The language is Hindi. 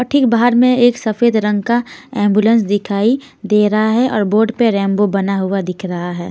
ठीक बाहर में एक सफेद रंग का एंबुलेंस दिखाई दे रहा है और बोर्ड पे रेंबो बना हुआ दिख रहा है.